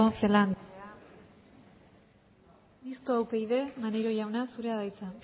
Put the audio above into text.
celaá andrea mistoa upyd maneiro jauna zurea da hitza